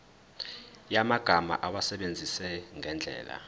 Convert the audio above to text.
yamagama awasebenzise ngendlela